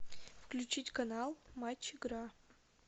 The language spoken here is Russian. включить канал матч игра